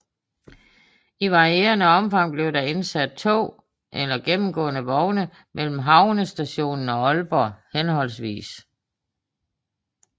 I varierende omfang blev der indsat tog eller gennemgående vogne mellem havnestationen og Aalborg hhv